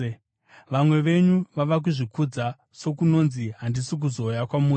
Vamwe venyu vava kuzvikudza, sokunonzi handisi kuzouya kwamuri.